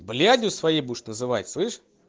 блядью своей будешь называть слышишь